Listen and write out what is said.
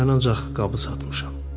Mən ancaq qabı satmışam.